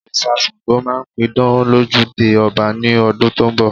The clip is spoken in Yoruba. Òrìṣà Ṣàngó máa pidán lójúde ọba ní ọdún tó ń bọ̀